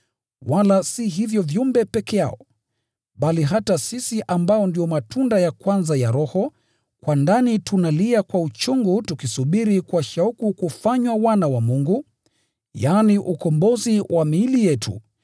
Wala si hivyo viumbe peke yao, bali hata sisi ambao ndio matunda ya kwanza ya Roho, kwa ndani tunalia kwa uchungu tukisubiri kwa shauku kufanywa wana wa Mungu, yaani, ukombozi wa miili yetu.